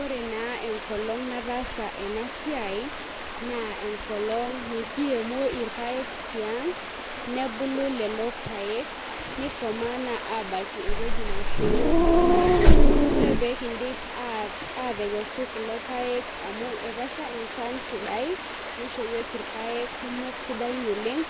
Ore na enkolong nataasa enasiai na enkolong nikiremo irpaek tiang nebulu lolo paek, nikomaa abaki ewoji naisho yiok irpaek, ore pekindip atekesu kulo paek amu etasha enchan sidai nisho yiok irpaek kumok sidain oleng